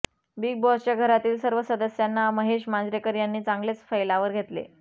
big बॉसच्या घरातील सर्व सदस्यांना महेश मांजरेकर यांनी चांगलेच फैलावर घेतले